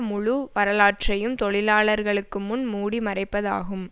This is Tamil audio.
முழு வரலாற்றையும் தொழிலாளர்களுக்கு முன் மூடி மறைப்பதாகும்